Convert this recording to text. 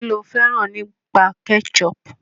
Kí lo fẹ́ràn nípa ketchup?